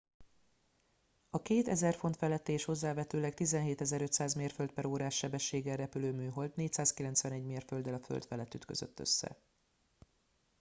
a két 1000 font feletti és hozzávetőleg 17 500 mérföld/órás sebességgel repülő műhold 491 mérfölddel a föld felett ütközött össze